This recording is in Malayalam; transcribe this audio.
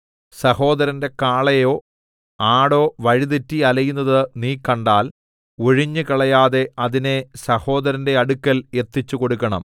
സഹോദരന്റെ കാളയോ ആടോ വഴിതെറ്റി അലയുന്നത് നീ കണ്ടാൽ ഒഴിഞ്ഞുകളയാതെ അതിനെ സഹോദരന്റെ അടുക്കൽ എത്തിച്ചുകൊടുക്കണം